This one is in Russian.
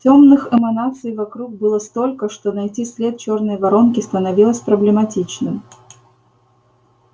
тёмных эманаций вокруг было столько что найти след чёрной воронки становилось проблематично